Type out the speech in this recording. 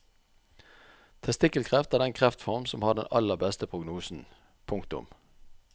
Testikkelkreft er den kreftform som har den aller beste prognosen. punktum